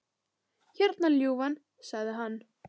Hérna, ljúfan, sagði hann.